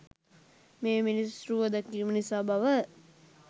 මේ මිනිස් රුව දැකීම නිසා බව